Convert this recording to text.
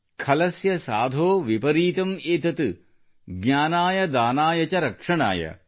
ಖಲಸ್ಯ ಸಾಧೋ ವಿಪರೀತಂ ಏತತ್ ಜ್ಞಾನಾಯ ದಾನಾಯ ಚ ರಕ್ಷಣಾಯ